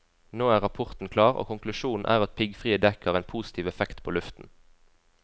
Nå er rapporten klar, og konklusjonen er at piggfrie dekk har en positiv effekt på luften.